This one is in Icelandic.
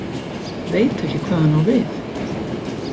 Veit ekki hvað hann á við.